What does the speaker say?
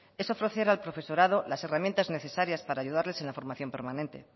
es ofrecer al profesorado las herramientas necesarias para ayudarles en la formación permanente